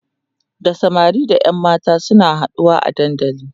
da samari da ƴan mata suna haɗuwa a dandali